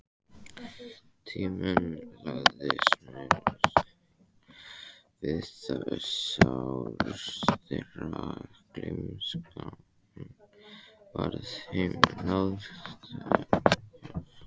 Tíminn lagði smyrsl við sár þeirra, gleymskan varð þeim náðargjöf.